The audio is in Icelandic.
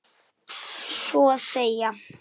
Svo að segja.